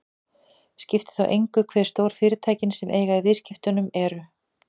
Skiptir þá engu hve stór fyrirtækin sem eiga í viðskiptunum eru.